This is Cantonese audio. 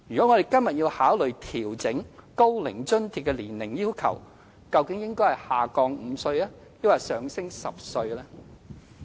我們今天如要考慮調整高齡津貼的年齡要求，究竟應該是把門檻降低5歲，還是上調10歲呢？